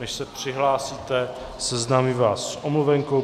Než se přihlásíte, seznámím vás s omluvenkou.